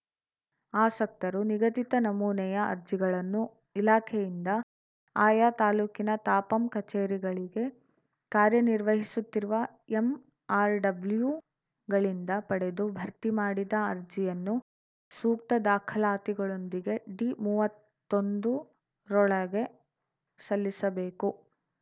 ಆಸಕ್ತರು ನಿಗದಿತ ನಮೂನೆಯ ಅರ್ಜಿಗಳನ್ನು ಇಲಾಖೆಯಿಂದ ಆಯಾ ತಾಲೂಕಿನ ತಾಪಂ ಕಚೇರಿಗಳಳಿಗೆ ಕಾರ್ಯನಿರ್ವಹಿಸುತ್ತಿರುವ ಎಂಆರ್‌ಡಬ್ಲ್ಯೂಗಳಿಂದ ಪಡೆದು ಭರ್ತಿ ಮಾಡಿದ ಅರ್ಜಿಯನ್ನು ಸೂಕ್ತ ದಾಖಲಾತಿಗಳೊಂದಿಗೆ ಡಿಮೂವತ್ತೊಂದು ರೊಳಗೆ ಸಲ್ಲಿಸಬೇಕು